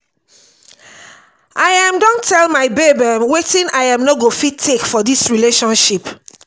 i um don tell my babe um wetin i um no go fit take for dis relationship.